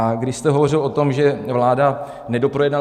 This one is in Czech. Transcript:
A když jste hovořil o tom, že vláda nedoprojednala...